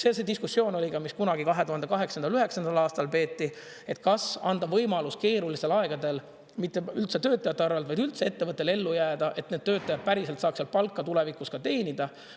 Seal see diskussioon oli ka, mis kunagi 2008. või 2009. aastal peeti: kas anda võimalus keerulistel aegadel üldse mitte töötajate arvelt, vaid üldse ettevõttel ellu jääda, et need töötajad päriselt saaks seal palka tulevikus teenida?